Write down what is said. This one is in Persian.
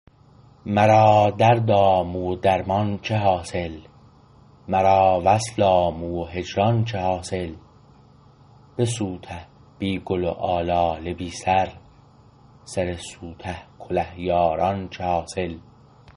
مرا درد آموه و درمان چه حاصل مرا وصل آموه و هجران چه حاصل بسوته بی گل و آلاله بی سر سر سوته کله یاران چه حاصل